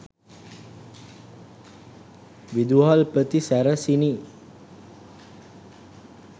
විදුහල්පති සැරසිණි